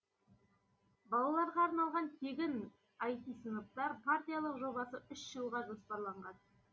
балаларға арналған тегін айти сыныптар партиялық жобасы үш жылға жоспарланған